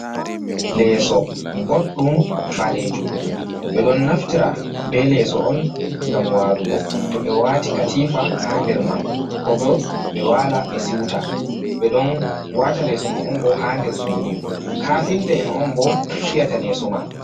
Leeso boɗɗum ɓalejum ɓe ɗon naftira be leeso on ngam walugo to ɓe wati katifa ha nder man, ko bo ɓe wala ɓe siuta ɓe ɗon wata leeso man on bo ha nder suudu, kafinta en on bo fiyata leeso man.